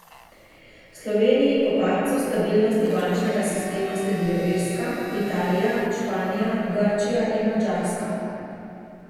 Sloveniji po padcu stabilnosti bančnega sistema sledijo Irska, Italija, Španija, Grčija in Madžarska.